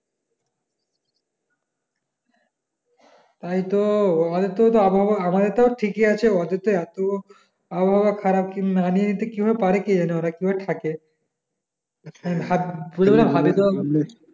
তাই তো ওদের তো আবহাওয়া আমাদের টাও ঠিকি আছে ওদের থেকে এত আবহাওয়া খারাপ না নিয়ে কি ভাবে পারে কে জানে ওরা কি ভাবে থাকে